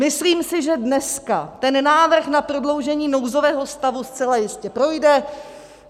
Myslím si, že dneska ten návrh na prodloužení nouzového stavu zcela jistě projde.